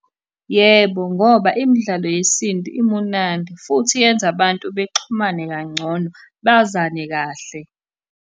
Yebo, ngoba imidlalo yesintu imunandi, futhi yenza abantu bexhumane kangcono bazane kahle.